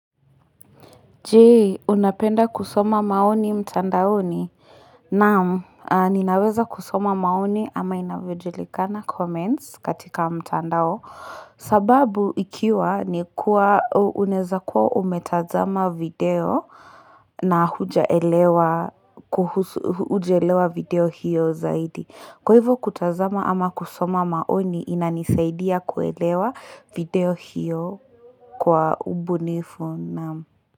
Jee, unapenda kusoma maoni mtandao ni? Naamu, ninaweza kusoma maoni ama inavyojulika na comments katika mtandao sababu ikiwa ni kuwa uneza kuwa umetazama video na hujaelewa video hiyo zaidi Kwa hivyo kutazama ama kusoma maoni inanisaidia kuelewa video hiyo kwa ubunifu naamu.